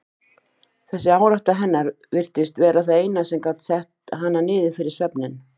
Þessi árátta hennar virtist vera það eina sem gat sett hana niður fyrir svefninn.